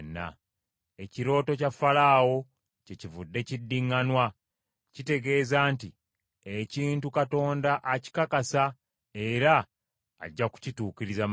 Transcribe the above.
Ekirooto kya Falaawo kyekivudde kiddiŋŋanwa, kitegeeza nti ekintu Katonda akikakasa era ajja kukituukiriza mangu.